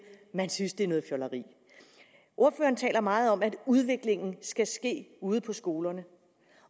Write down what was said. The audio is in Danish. at man synes det er noget fjolleri ordføreren taler meget om at udviklingen skal ske ude på skolerne